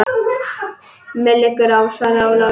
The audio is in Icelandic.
Mér liggur á, svaraði Ólafur.